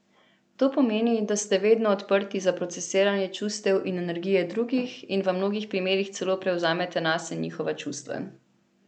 To pomeni, da ste vedno odprti za procesiranje čustev in energije drugih in v mnogo primerih celo prevzamete nase njihova čustva.